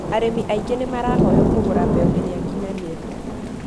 arimi aingĩ nĩmarahoywo kũgũra mbegũ iria nginyanĩrũ